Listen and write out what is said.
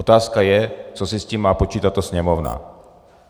Otázka je, co si s tím má počít tato Sněmovna.